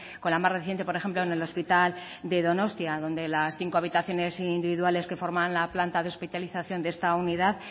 con la más reciente por ejemplo en el hospital de donostia donde las cinco habitaciones individuales que forman la planta de hospitalización de esta unidad